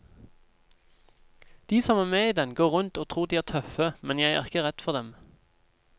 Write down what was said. De som er med i den, går rundt og tror de er tøffe, men jeg er ikke redd for dem.